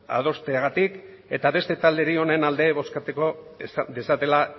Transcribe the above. adosteagatik eta beste talderi honen alde bozkatu dezatela